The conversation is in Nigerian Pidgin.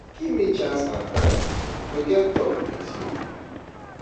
Give me chance and time to get talk with you.